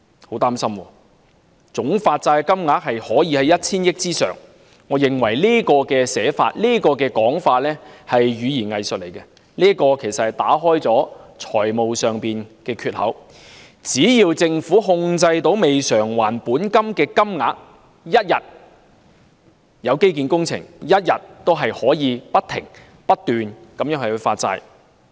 我很擔心，總發債金額可以超過 1,000 億元，我認為這種說法是語言"偽術"，其實是要打開財政儲備的缺口，只要政府控制未償還的本金額，一天有基建工程，一天也可以不停發債。